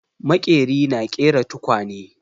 Maƙeri na ƙera tukwane.